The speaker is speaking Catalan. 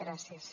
gràcies